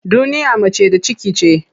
Duniya mace da ciki ce.